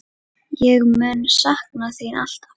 Ég mun sakna þín alltaf.